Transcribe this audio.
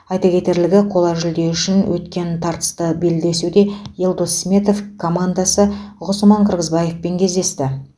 айта кетерлігі қола жүлде үшін өткен тартысты белдесуде елдос сметов командаласы ғұсман қырғызбаевпен кездесті